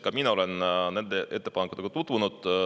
Ka mina olen nende ettepanekutega tutvunud.